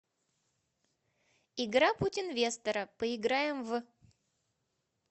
игра путь инвестора поиграем в